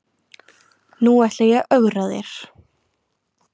Nú ætla ég að ögra þér.